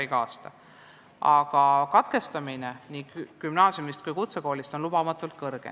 Aga õpingute katkestamine nii gümnaasiumis kui ka kutsekoolis on lubamatult sage.